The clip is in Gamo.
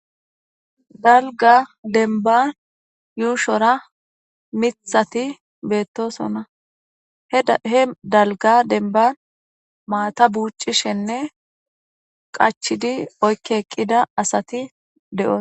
dalga demban yuushora mithati beettosona he dalga denban maata buucishenne qachidi oykki eqqida asati de7osa